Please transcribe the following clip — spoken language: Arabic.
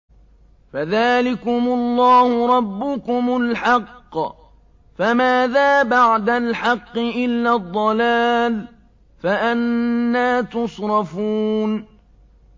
فَذَٰلِكُمُ اللَّهُ رَبُّكُمُ الْحَقُّ ۖ فَمَاذَا بَعْدَ الْحَقِّ إِلَّا الضَّلَالُ ۖ فَأَنَّىٰ تُصْرَفُونَ